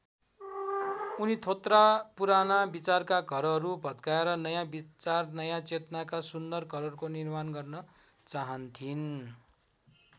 उनी थोत्रा पुराना विचारका घरहरू भत्काएर नयाँ विचार नयाँ चेतनाका सुन्दर घरहरूको निर्माण गर्न चाहन्थिन्।